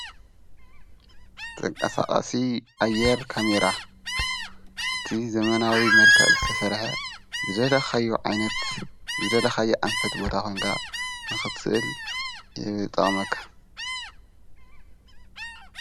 ተንቃሳቓ ሲ ኣየር ካሜይራ እቲ ዘመናዋዊ መርካ ዝተሠርሐ ዘደለኻዮ ዓይነት ዝደለ ኻዮ ኣንፈት ቦታ ኾንጋ ንኽስል የብጠቐመካ